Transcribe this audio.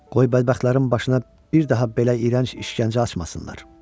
Qoy bədbəxtlərin başına bir daha belə iyrənc işgəncə açmasınlar.